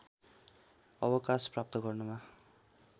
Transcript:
अवकाश प्राप्त गर्नमा